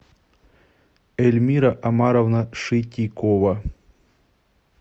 эльмира омаровна шитикова